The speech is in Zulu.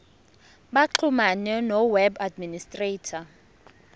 baxhumane noweb administrator